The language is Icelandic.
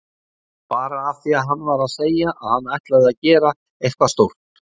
Bara af því að hann var að segja að hann ætlaði að gera eitthvað stórt.